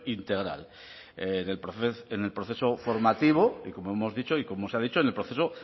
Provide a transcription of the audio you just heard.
integral en el proceso formativo y como hemos dicho y como se ha dicho en el proceso